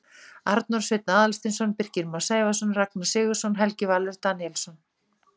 Arnór Sveinn Aðalsteinsson Birkir Már Sævarsson Ragnar Sigurðsson Helgi Valur Daníelsson